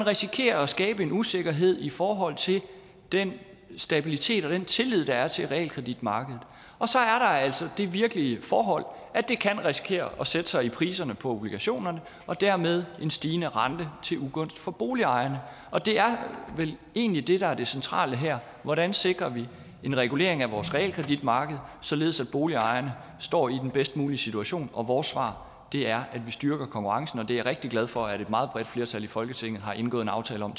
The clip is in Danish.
risikerer at skabe en usikkerhed i forhold til den stabilitet og den tillid der er til realkreditmarkedet og så er der altså det virkelige forhold at det kan risikere at sætte sig i priserne på obligationer og dermed en stigende rente til ugunst for boligejerne og det er vel egentlig det der er det centrale her hvordan sikrer vi en regulering af vores realkreditmarked således at boligejerne står i den bedst mulige situation og vores svar er at vi styrker konkurrencen og det er jeg rigtig glad for at et meget bredt flertal i folketinget har indgået en aftale om